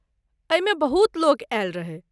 एहिमे बहुत लोक आयल रहै।